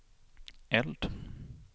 eld